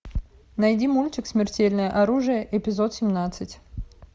найди мультик смертельное оружие эпизод семнадцать